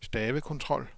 stavekontrol